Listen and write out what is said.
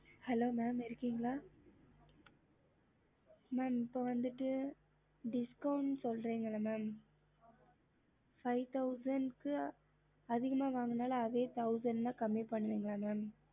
hello mam இருக்கீங்களா சொல்லுங்க ம mam discount சொல்றிங்க இல்ல five thoundend வாங்கனாலும் thousand discount பண்ணுவிங்கள